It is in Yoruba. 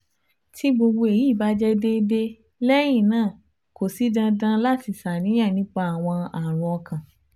Ti gbogbo eyi ba jẹ deede lẹyin naa ko si dandan lati ṣàníyàn nipa awọn arun ọkan